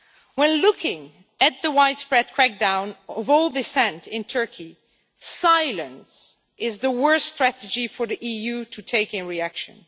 When looking at the widespread crackdown on all dissent in Turkey, silence is the worst strategy for the EU to take in reaction.